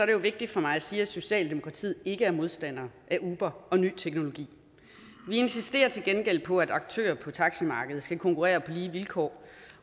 det jo vigtigt for mig at sige at socialdemokratiet ikke er modstander af uber og ny teknologi vi insisterer til gengæld på at aktører på taximarkedet skal konkurrere på lige vilkår